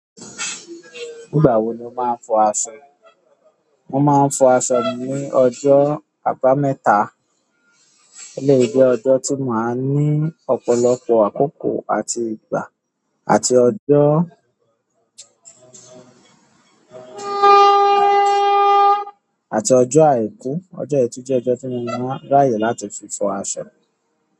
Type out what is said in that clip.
Nígbà wo ni o máa ń fọ aṣọ? Mo máa ń fọ aṣọ mi ní ọjọ́ àbámẹ́ta, ó de jẹ́ ọjọ́ tí máa ń ní ọ̀pọ̀lọpọ̀ àkókò àti ìgbà àti ọjọ́, àti ọjọ́ àìkú. Ojo yi tun je ojo ti mo maa n raye láti fi fo aṣọ.